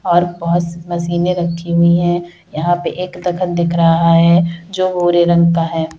आस पास मशीने रखे हुई हैं। यहाँ पे एक दफ़न दिख रहा हैं जो गोर रंग का है।